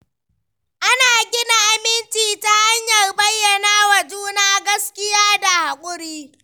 Ana gina aminci ta hanyar bayyana wa juna gaskiya da haƙuri.